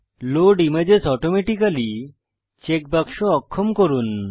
load images automatically check বাক্স অক্ষম করুন